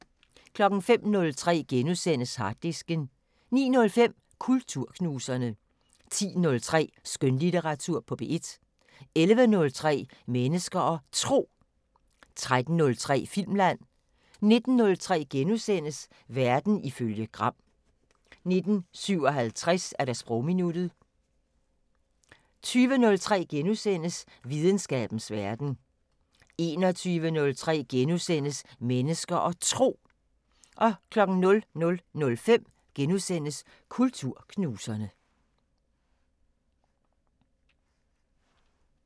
05:03: Harddisken * 09:05: Kulturknuserne 10:03: Skønlitteratur på P1 11:03: Mennesker og Tro 13:03: Filmland 19:03: Verden ifølge Gram * 19:57: Sprogminuttet 20:03: Videnskabens Verden * 21:03: Mennesker og Tro * 00:05: Kulturknuserne *